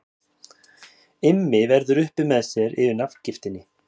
Immi verður upp með sér yfir nafngiftinni.